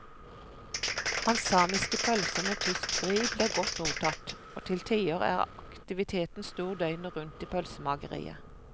Hans samiske pølser med tysk vri blir godt mottatt, og til tider er aktiviteten stor døgnet rundt i pølsemakeriet.